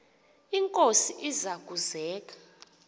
inkosi iza kuzek